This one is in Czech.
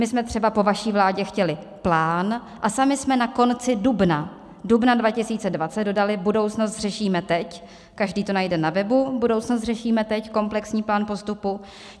My jsme třeba po vaší vládě chtěli plán a sami jsme na konci dubna 2020 dodali Budoucnost řešíme teď, každý to najde na webu - Budoucnost řešíme teď, komplexní plán postupu.